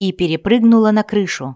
и перепрыгнула на крышу